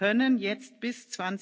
Sie können jetzt bis